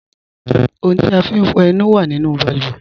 Ọ̀huǹ ti a fín fọ ẹ̀nù wà nínu bàlúwẹ̀